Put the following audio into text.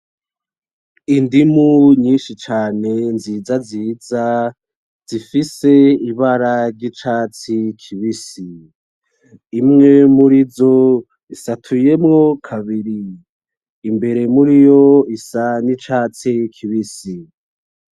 Indimu nyishi cane nziza ziza zifise ibara ry'icatsi kibisi. imwe murizo isatuyemwo kabiri ,imbere muriyo isa n'icatsi kibisi.